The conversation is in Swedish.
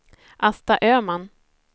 Asta Östman